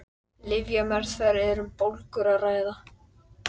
Lyfjameðferð ef um bólgur er að ræða.